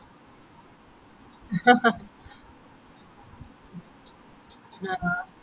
ആഹ് ആ